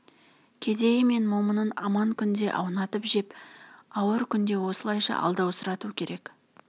кедейі мен момынын аман күнде аунатып жеп ауыр күнде осылайша алдаусырату керек